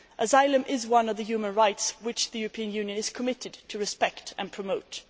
Asylum is one of the human rights which the European Union is committed to respecting and promoting.